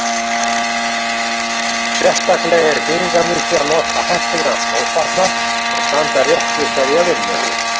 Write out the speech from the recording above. Sérstaklega er þýðingarmikið að nota heppilegan skófatnað og standa rétt við hverja vinnu.